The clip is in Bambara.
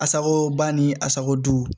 Asako ba ni a sago